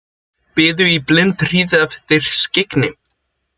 Biðu í blindhríð eftir skyggni